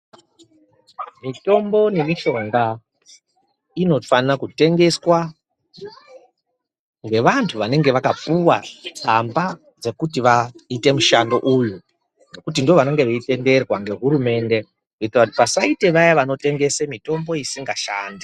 Mitombo nemishonga inofana kutengeswa ngevantu vanenge vakapuwa tsamba dzekuti vaite mushando uyu ngekuti ndovanenga veitenderwa ngehurumende kuite kuti pasaite vaya vanotengese mitombo isinga shandi.